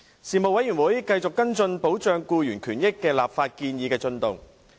事務委員會繼續跟進保障僱員權益的立法建議的進度。